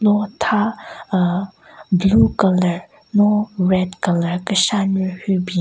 Lo tha aahh blue colour no red colour keshanyu hyu bin.